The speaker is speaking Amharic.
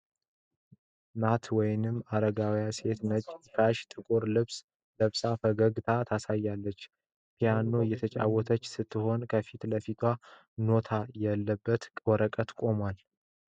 ናት ወይንም አረጋዊት ሴት ነጭ ሻሽና ጥቁር ልብስ ለብሳ ፈገግታ ታሳያለች። ፒያኖ እየተጫወተች ስትሆን፣ ከፊት ለፊቷ ኖታ ያለበት ወረቀት ቆሟል።